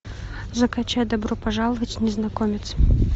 закачай добро пожаловать незнакомец